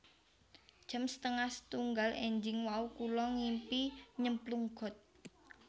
Jam setengah setunggal enjing wau kula ngimpi nyemplung got